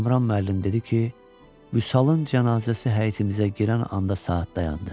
Kamran müəllim dedi ki, Vüsalın cənazəsi həyətimizə girən anda saat dayandı.